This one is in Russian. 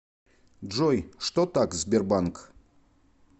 джой что так сбербанк